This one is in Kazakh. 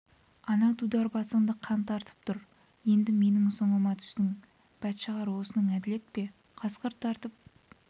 ана дудар басыңды қан тартып тұр енді менің соңыма түстің бәтшағар осының әділет пе қасқыр тартып